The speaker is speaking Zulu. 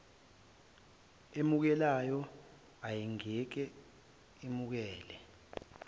emukelayo ayingeke imukeleke